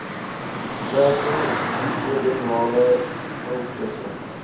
stelsel duodenale ulkusse